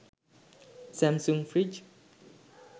samsung fridge